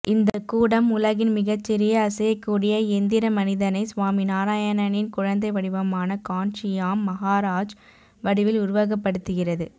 இந்த கூடம் உலகின் மிகச்சிறிய அசையக்கூடிய எந்திர மனிதனை சுவாமிநாராயணனின் குழந்தை வடிவமான கான்சியாம் மகாராஜ் வடிவில் உருவகப்படுத்துகிறது